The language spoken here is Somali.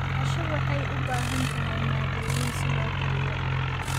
Casho waxay u baahan tahay maaddooyin si loo kariyo.